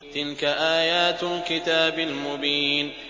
تِلْكَ آيَاتُ الْكِتَابِ الْمُبِينِ